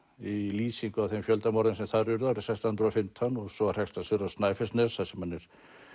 í lýsingu á þeim fjöldamorðum sem þar urðu árið sextán hundruð og fimmtán og svo hrekst hann suður á Snæfellsnes þar sem hann er